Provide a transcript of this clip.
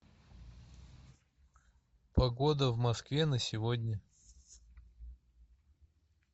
погода в москве на сегодня